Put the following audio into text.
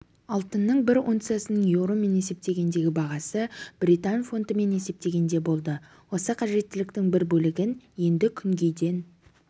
алтынның бір унциясының еуромен есептегендегі бағасы британ фунтымен есептегенде болды осы қажеттіліктің бір бөлігін енді күнгейден